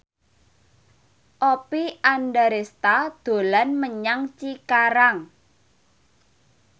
Oppie Andaresta dolan menyang Cikarang